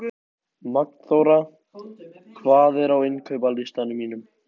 Magnþóra, hvað er á innkaupalistanum mínum?